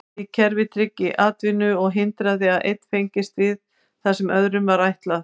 Slíkt kerfi tryggði atvinnu og hindraði að einn fengist við það sem öðrum var ætlað.